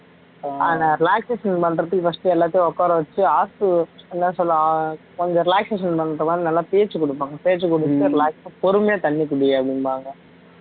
ஆனா relaxation பண்றதுக்கு first எல்லாத்தையும் உட்கார வச்சு என்ன சொல்றது கொஞ்சம் relaxation பண்ற மாதிரி நல்லா பேச்சு கொடுப்பாங்க பேச்சு கொடுக்கிறது relax பொறுமையா தண்ணி குடி அப்படிம்பாங்க